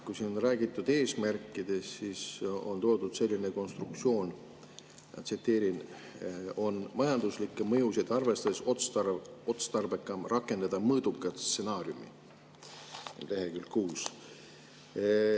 Kui siin on räägitud eesmärkidest, siis on leheküljel 6 toodud selline konstruktsioon: " on majanduslikke mõjusid arvestades otstarbekam rakendada mõõdukat stsenaariumi ".